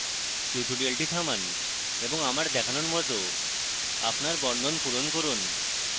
tutorial থামান এবং আমার দেখানোর মত আপনার বর্ণন পূরণ করুন